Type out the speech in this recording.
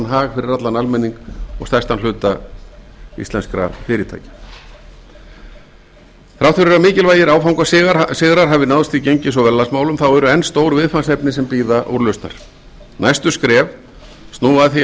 hag fyrir allan almenning og stærstan hluta íslenskra fyrirtækja þrátt fyrir að mikilvægir áfangasigrar hafi náðst í gengis og verðlagsmálum eru enn stór viðfangsefni sem bíða úrlausnar næstu skref snúa að því að